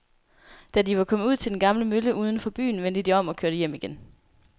Da de var kommet ud til den gamle mølle uden for byen, vendte de om og kørte hjem igen.